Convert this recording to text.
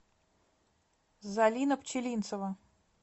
залина пчелинцева